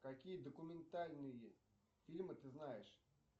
какие документальные фильмы ты знаешь